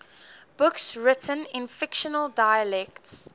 books written in fictional dialects